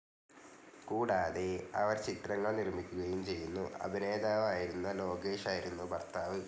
കൂടാതെ അവർ ചിത്രങ്ങൾ നിർമ്മിക്കുകയും ചെയ്യുന്നു, അഭിനേതാവായിരുന്ന ലോകേഷ് ആയിരുന്നു ഭർത്താവ്.